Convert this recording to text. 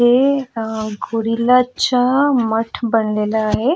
ये अ गोरिल्लाचा मठ बनलेल आहे.